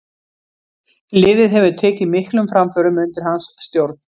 Liðið hefur tekið miklum framförum undir hans stjórn.